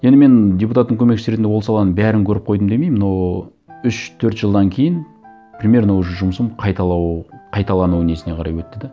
енді мен депутаттың көмекшісі ретінде ол саланың бәрін көріп қойдым демеймін но үш төрт жылдан кейін примерно уже жұмысым қайталану несіне қарай өтті де